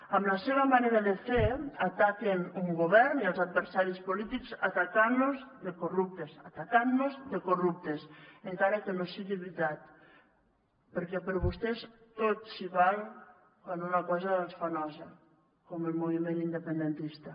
amb la seva manera de fer ataquen un govern i els adversaris polítics atacantlos de corruptes atacantnos de corruptes encara que no sigui veritat perquè per vostès tot s’hi val quan una cosa els fa nosa com el moviment independentista